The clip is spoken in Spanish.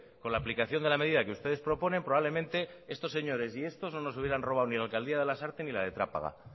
con la aplicación de la medida que ustedes proponen probablemente estos señores y estos no nos hubieran robado ni la alcaldía de lasarte ni la de trápaga